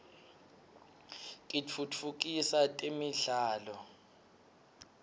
kitfutfukisa temidlalo